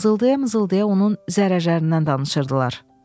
mızıldaya-mızıldaya onun zərərlərindən danışırdılar.